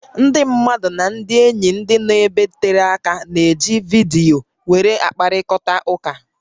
Ndị mmadụ nà ndị ényí ndị nọ ebe tere áká na-eji vidiyo wéré akpakọrịta ụká